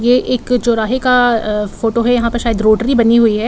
यह एक चौराहे का अ फोटो है यहाँ पर शायद रोटरी बनी हुई है।